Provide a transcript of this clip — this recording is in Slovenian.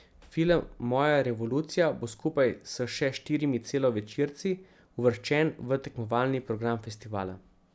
Film Moja revolucija bo skupaj s še štirimi celovečerci uvrščen v tekmovalni program festivala.